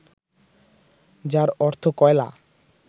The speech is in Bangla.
যার অর্থ কয়লা